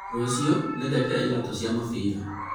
rũciũ nĩngekĩra iratũ cĩa mũbira